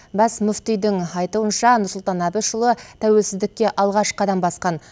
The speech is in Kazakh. бас мүфтидің айтуынша нұрсұлтан әбішұлы тәуелсіздікке алғаш қадам басқан